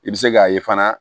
I bɛ se k'a ye fana